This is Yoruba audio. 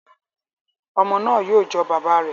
Ọmọ náà yóò jọ bàbá rẹ